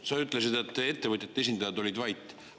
sa ütlesid, et ettevõtjate esindajad olid vait.